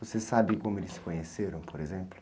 Você sabe como eles se conheceram, por exemplo?